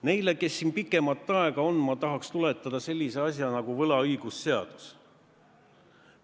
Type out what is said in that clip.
Neile, kes siin pikemat aega on, ma tahaks tuletada meelde sellise asja nagu võlaõigusseadus.